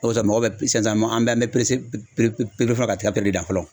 O de kosɔn mɔgɔ bɛ sisan an bɛɛ an bɛ fɔlɔ ka tiga de dan fɔlɔ.